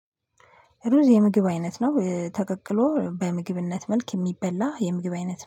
ሩዝ የምግብ አይነት ነው ተቀቅሎ በምግብነት መልክ የሚበላ የምግብ አይነት